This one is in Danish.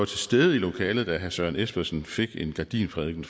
stede i lokalet da herre søren espersen fik en gardinprædiken